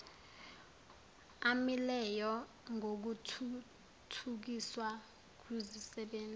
amileyo ngokuthuthukiswa kwizisebenzi